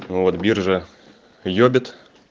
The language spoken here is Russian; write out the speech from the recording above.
вот биржа ёбит